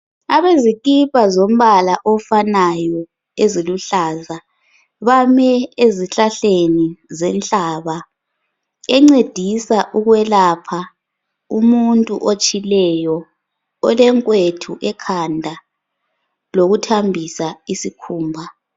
Abezikipa zombala ofanayo eziluhlaza bam ezihlahleni zenhlaba encedisa ukwelapha umuntu otshileyo, olenkwethu ekhanda lokuthambisa isikhumba.